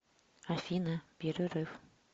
афина перерыв